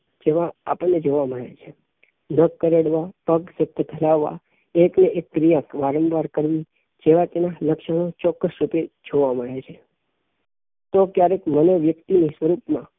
જેવાં આપણને જોવા મળે છે અપશબ્દ ફેલાવવા એક ને એક ક્રિયા વારંવાર કરવી જેવા લક્ષણો ચોક્કસ રૂપે જોવા મળે છે તો ક્યારેક મનોવ્યક્તિ ની સ્વરૂપ માં